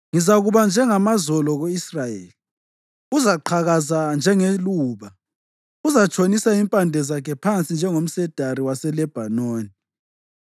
Ngizakuba njengamazolo ku-Israyeli; uzaqhakaza njengeluba. Uzatshonisa impande zakhe phansi njengomsedari waseLebhanoni;